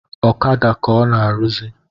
Ọkada ka ọ na-arụzị